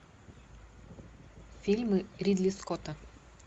фильмы ридли скотта